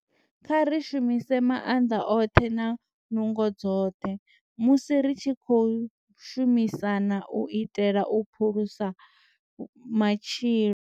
Kha ri shumise maanḓa oṱhe na nungo dzoṱhe musi ri tshi khou shumisana u itela u phulusa matshilo.